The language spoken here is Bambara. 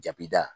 Jabida